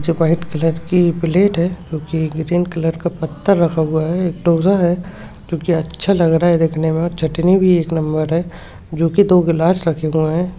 जो white colour की plate है जो की ग्रीन कलर का पत्थर रखा हुआ है एक डोसा है जो की अच्छा लग रहा है देखने में और चटनी भी एक नंबर है जो कि दो गिलास रखे हुए है।